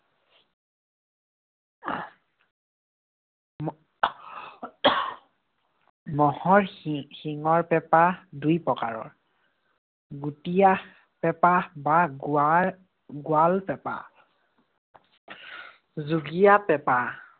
ম'হৰ শি~ শিঙৰ পেঁপা দুই প্ৰকাৰৰ। গুটিয়া পেঁপা বা গুৱা~ গুৱাল পেঁপা। যোগীয়া পেঁপা।